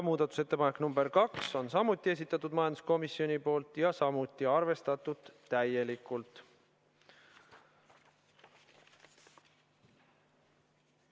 Muudatusettepaneku nr 2 on samuti esitanud majanduskomisjon ja sedagi on arvestatud täielikult.